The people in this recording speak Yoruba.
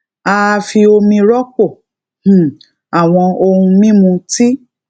a a fi omi rọpò um àwọn ohun mímu tí